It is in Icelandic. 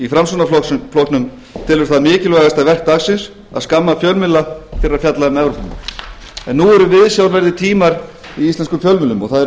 framsóknarflokknum telur það mikilvægasta verk dagsins að skamma fjölmiðla fyrir að fjalla um evrópumál en nú eru viðsjárverðir tímar í íslenskum fjölmiðlum og það eru viðsjárverðir tímar